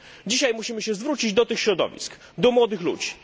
Dzisiaj musimy się zwrócić do tych środowisk, do młodych ludzi.